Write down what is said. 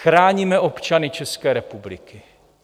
Chráníme občany České republiky.